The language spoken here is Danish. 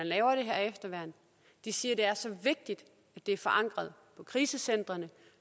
lave det her efterværn de siger at det er så vigtigt at det er forankret på krisecentrene